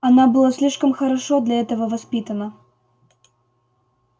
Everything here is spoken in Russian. она была слишком хорошо для этого воспитана